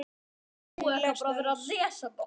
Eina lest öls.